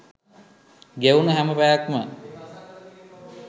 ගෙවුණ හැම පැයක්ම